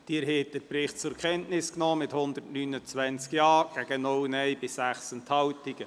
Sie haben den Bericht zur Kenntnis genommen mit 129 Ja- zu 0 Nein-Stimmen bei 6 Enthaltungen.